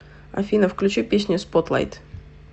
афина включи песню спотлайт